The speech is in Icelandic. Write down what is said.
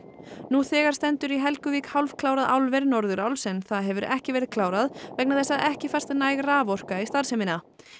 nú þegar stendur í Helguvík hálfklárað álver Norðuráls en það hefur ekki verið klárað vegna þess að ekki fæst næg raforka í starfsemina